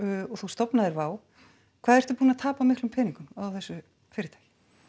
og þú stofnaðir Wow hvað ertu búinn að tapa miklum peningum á þessu fyrirtæki